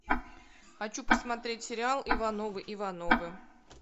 хочу посмотреть сериал ивановы ивановы